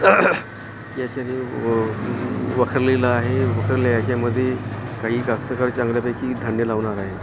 या ठिकाणी आहे उरलेल्या हेच्यामधे काही जास्त काळ चांगल्या पैकी लावणार आहे.